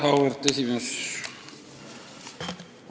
Auväärt esimees!